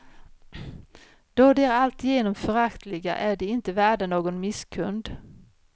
Då de är alltigenom föraktliga är de inte värda någon misskund.